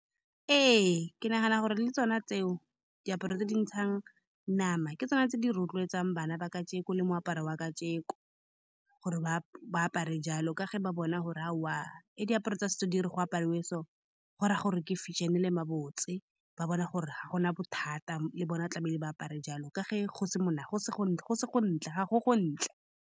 Ee, ke nagana gore le tsone tseo diaparo tse di ntshang nama. Ke tsone tse di rotloetsang bana ba kajeko le moaparo wa kajeko, gore ba apare jalo ka ge ba bona gore aowa, diaparo tsa setso di re go apariwe, so go raya gore ke fashion-e le ma botse ba bona gore ga gona bothata le bona tlamehile ba apare jalo ka ge go se mona go se go ntle, go se go ntle, ga go go ntle.